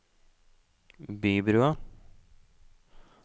Bybrua